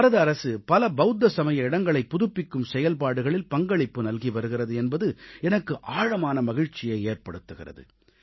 பாரத அரசு பல பவுத்த சமய இடங்களைப் புதுப்பிக்கும் செயல்பாடுகளில் பங்களிப்பு நல்கி வருகிறது என்பது எனக்கு ஆழமான மகிழ்ச்சியை ஏற்படுத்துகிறது